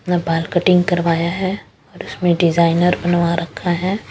अपना बाल कटिंग करवाया है और उसमें डिजाइनर बनवा रखा है।